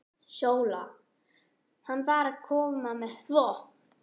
SÓLA: Hann var að koma með þvott.